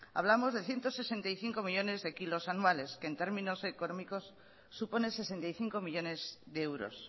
hablamos de ciento sesenta y cinco millónes de kilos anuales que en términos económicos supone sesenta y cinco millónes de euros